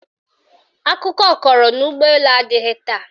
Akụkọ kọrọ na ụgbọelu adịghị taa